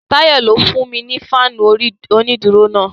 Tayọ ló fún mi ni fáànù onídùúró náà.